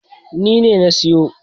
Ni ne na siyo.